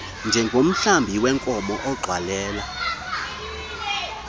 njengomhlambi weenkomo ugxwalela